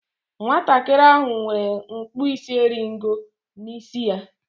Nwatakịrị ahụ nwere ọkpụisieringo n'isi ya.